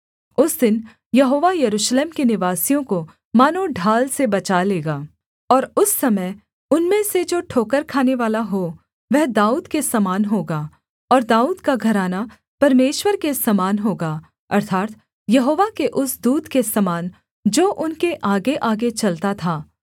उस दिन यहोवा यरूशलेम के निवासियों को मानो ढाल से बचा लेगा और उस समय उनमें से जो ठोकर खानेवाला हो वह दाऊद के समान होगा और दाऊद का घराना परमेश्वर के समान होगा अर्थात् यहोवा के उस दूत के समान जो उनके आगेआगे चलता था